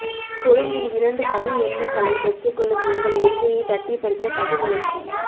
கொழும்பில் இரண்டு தமிழ் எம்பிக்களை பெற்றுக்கொள்ளும் எங்கள் உரிமையை தட்டி பறிக்க சதி முயற்சி